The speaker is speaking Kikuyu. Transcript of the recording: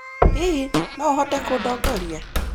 Hihi, no ũhote kũndongoria?